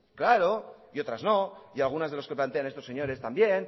claro y otras no y algunas que plantean estos señores también